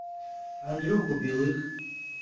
андрюху белых